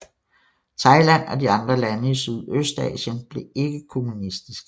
Thailand og de andre lande i Sydøstasien blev ikke kommunistiske